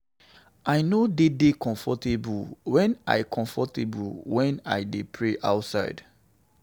I no dey dey comfortable wen I comfortable wen I dey pray outside